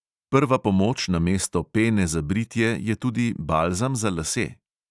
Prva pomoč namesto pene za britje je tudi balzam za lase.